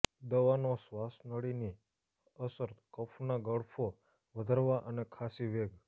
દવાનો શ્વાસનળીની અસર કફ ના ગળફો વધારવા અને ખસી વેગ